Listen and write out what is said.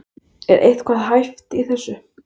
Er eitthvað hæft í þessu?